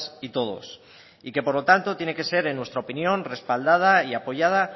y todos y que por lo tanto tiene que ser en nuestra opinión respaldada y apoyada